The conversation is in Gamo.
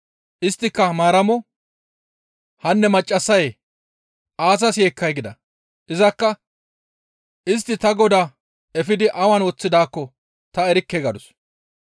Isttika Maaramo, «Hanne maccassayee! Aazas yeekkay?» gida. Izakka, «Istti ta Godaa efidi awan woththidaakko ta erikke» gadus.